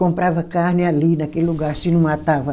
Comprava carne ali naquele lugar, se não matava